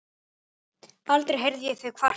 Aldrei heyrði ég þig kvarta.